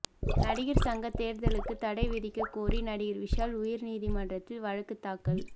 நடிகர் சங்கத் தேர்தலுக்குத் தடை விதிக்கக் கோரி நடிகர் விஷால் உயர் நீதிமன்றத்தில் வழக்கு தாக்கல்